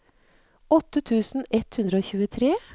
åtte tusen ett hundre og tjuetre